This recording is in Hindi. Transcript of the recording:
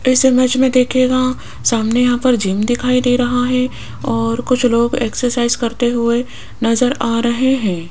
इस इमेज में देखिएगा सामने यहां पर जिम दिखाई दे रहा है और कुछ लोग एक्सरसाइज करते हुए नजर आ रहे हैं।